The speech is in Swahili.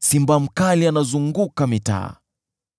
simba mkali anazunguka mitaa!”